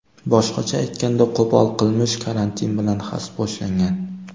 Boshqacha aytganda, qo‘pol qilmish karantin bilan xaspo‘shlangan.